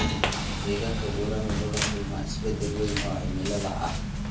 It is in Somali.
Deegaanka buuraha wuxuu la kulmaa isbeddel weyn oo cimilada ah.